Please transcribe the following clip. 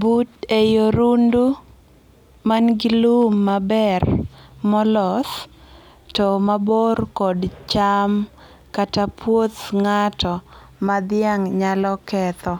But ei orundu manigi lum maber ma oloth to ni mabor kod cham kata puoth ngato ma dhiang' nyalo ketho